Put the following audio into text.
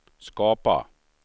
skapa